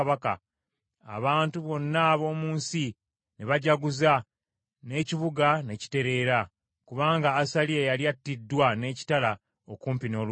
abantu bonna ab’omu nsi ne bajaguza, n’ekibuga n’ekitereera, kubanga Asaliya yali attiddwa n’ekitala okumpi n’olubiri.